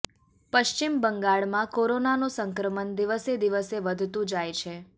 પશ્ચિમ બંગાળમાં કોરોનાનું સંક્રમણ દિવસે દિવસે વધતું જાય છે